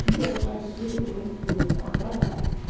тебе пытается цветы кругом всунуть там продать